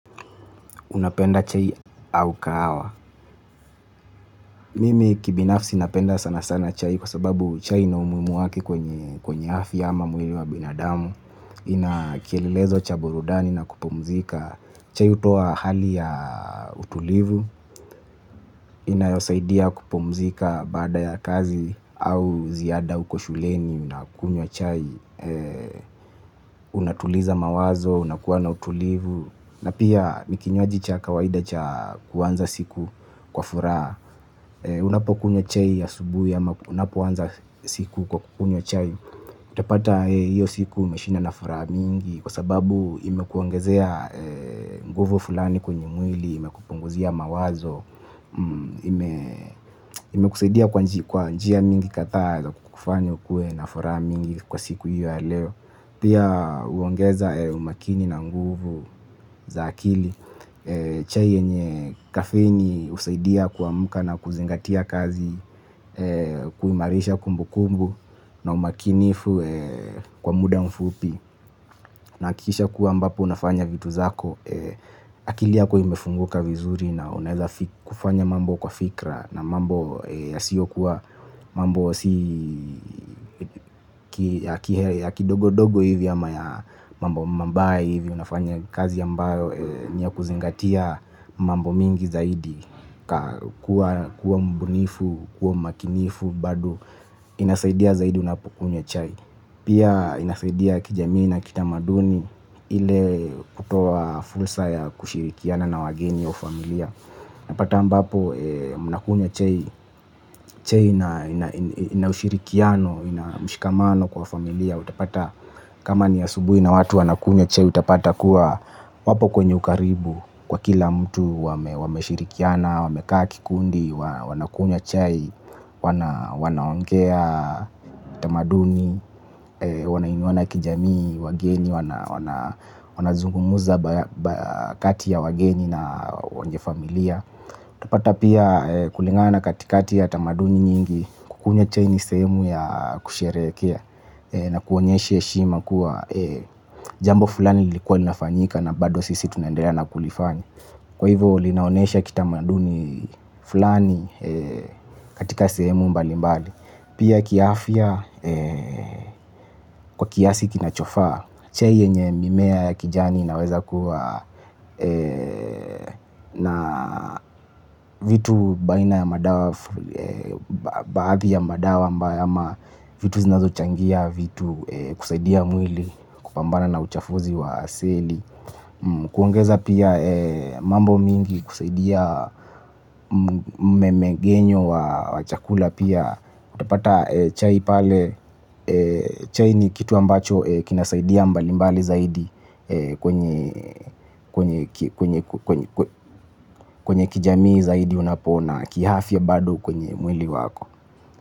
Unapenda chai au kahawa. Mimi kibinafsi napenda sana sana chai kwa sababu chai ina umuimu wake kwenye afya ama mwiri wa binadamu. Ina kielelezo cha burudani na kupumzika. Chai utoa hali ya utulivu. Inayosaidia kupumzika baada ya kazi au ziada uko shuleni. Ninakunywa chai. Unatuliza mawazo. Unakuwa na utulivu. Na pia ni kinywaji cha kawaida cha kuanza siku kwa furaha. Unapokunywa chai asubuhi ama unapoanza siku kwa kunywa chai utapata hiyo siku umeshinda na furaha mingi. Kwa sababu imekuongezea nguvu fulani kwenye mwili. Imekupunguzia mawazo. Imekusaidia kwa njia mingi kadhaa za kukufanya ukuwe na furaha mingi kwa siku hiyo ya leo. Pia uongeza umakini na nguvu za akili. Chai yenye kafeni usaidia kuamuka na kuzingatia kazi. Kuimarisha kumbukumbu na umakinifu kwa muda mfupi na kisha kuwa ambapo unafanya vitu zako. Akili yako imefunguka vizuri na unaeza kufanya mambo kwa fikra. Na mambo yasiyokuwa mambo ya kidogo dogo hivi ama ya mambo mabaya hivi unafanya kazi ambayo ni ya kuzingatia mambo mingi zaidi, kuwa mbunifu, kuwa mmakinifu, bado inasaidia zaidi unapukunywa chai. Pia inasaidia kijamii na kitamaduni ile kutoa fursa ya kushirikiana na wageni au familia. Napata ambapo mnakunywa chai, chai ina ushirikiano, ina mshikamano kwa familia. Utapata kama ni asubui na watu wanakunywa chai utapata kuwa wapo kwenye ukaribu. Kwa kila mtu wameshirikiana, wamekaa kikundi, wanakunywa chai, wanaongea tamaduni. Wanainuana kijamii, wageni, wanazungumuza kati ya wageni na wenye familia. Utapata pia kulingana na katikati ya tamaduni nyingi kukunywa chai ni sehemu ya kusherehekea na kuonyeshe eshima kuwa jambo fulani lilikuwa linafanyika na bado sisi tunaendelea na kulifanya. Kwa hivo linaonesha kitamaduni fulani katika sehemu mbali mbali. Pia kiafya kwa kiasi kinachofaa chai yenye mimea ya kijani inaweza kuwa na vitu baina ya madawa, baadhi ya madawa ama vitu zinazochangia vitu kusaidia mwili kupambana na uchafuzi wa aseli. Kuongeza pia mambo mingi kusaidia mmemegenyo wa chakula pia. Utapata chai pale. Chai ni kitu ambacho kinasaidia mbalimbali zaidi. Kwenye kijamii zaidi unapoona kihafya bado kwenye mwili wako.